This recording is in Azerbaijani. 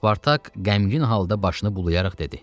Spartak qəmgin halda başını bulayaraq dedi.